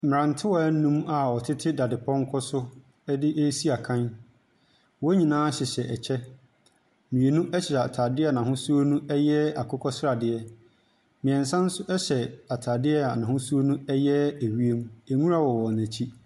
Mmrantewaa num a wɔtete dadepɔnkɔ so resi akan. Wɔn nyinaa hyehyɛ kyɛ. Mmienu hyɛ ataadeɛ a n'ahosuo no yɛ akokɔsradeɛ. Mmiɛnsa nso hyɛ ataadeɛ a n'ahosuo no yɛ ewiem. Nwura wɔ wɔn akyi.